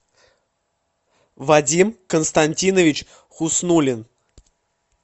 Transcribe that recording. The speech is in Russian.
вадим константинович хуснуллин